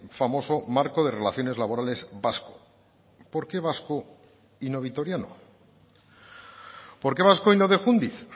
famoso marco de relaciones laborales vasco por qué vasco y no vitoriano por qué vasco y no de jundiz